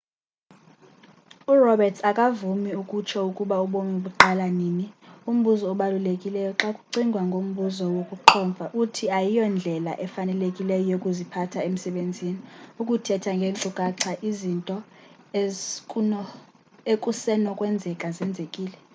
uroberts akavumi ukutsho ukuba ubomi buqala nini umbuzo obalulekileyo xa kucingwa ngombuzo wokuqhomfa uthi ayiyondlela efanelekileyo yokuziphatha emsebenzini ukuthetha ngeenkcukacha ezinto ekusenokwenzeka zenzekile